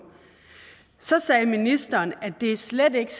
så sagde ministeren at det slet ikke